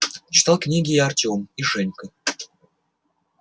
читал книги и артём и женька